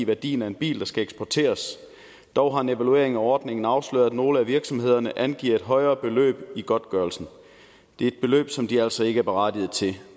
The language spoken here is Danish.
værdien af en bil der skal eksporteres dog har en evaluering af ordningen afsløret at nogle af virksomhederne angiver et højere beløb i godtgørelsen det er et beløb som de altså ikke er berettiget til